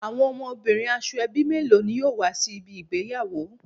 Awon omobirin Asoebi melo ni yoo wa si ibi igbeyawo